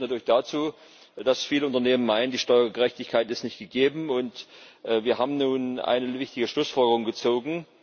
Das führt natürlich dazu, dass viele Unternehmen meinen, die Steuergerechtigkeit sei nicht gegeben. Wir haben nun einige wichtige Schlussfolgerungen gezogen.